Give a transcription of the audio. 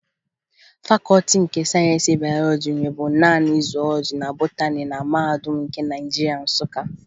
Fakọọti nke Sayensị Bayọlọji nweburu naanị zuwọlọji na botani na Mahadum nke Naịjirịa, Nsụka